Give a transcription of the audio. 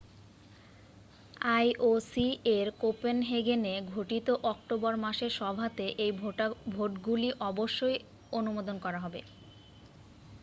ioc-এর কোপেনহেগেনে ঘটিত অক্টোবর মাসের সভাতে এই ভোটগুলি অবশ্যই আনুমদন করা হবে।